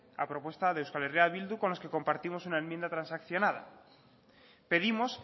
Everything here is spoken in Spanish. a propuesta de eh bildu con los que compartimos una enmienda transaccionada pedimos